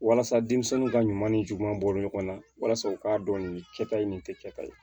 Walasa denmisɛnninw ka ɲuman ni juguman bɔ ɲɔgɔn na walasa u k'a dɔn nin kɛta ye nin kɛta ye